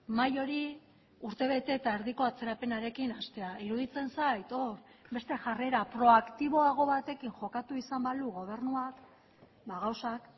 mahai hori urtebete eta erdiko atzerapenarekin hastea iruditzen zait hor beste jarrera proaktiboago batekin jokatu izan balu gobernuak gauzak